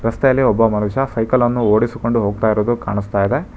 ರಸ್ತೆಯಲ್ಲಿ ಒಬ್ಬ ಮನುಷ್ಯ ಸೈಕಲ್ ಅನ್ನು ಓಡಿಸಿಕೊಂಡು ಹೋಗ್ತಾ ಇರೋದು ಕಾಣಿಸ್ತಾ ಇದೆ.